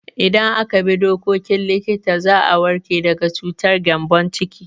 Idan aka bi dokokin likita za a warke daga cutar gyambon ciki.